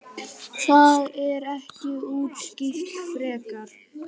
Það er ekki útskýrt frekar.